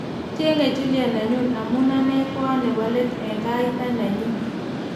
Achenge Juliet nenyu amu ane ko a ne bo let eng gaita nenyu.''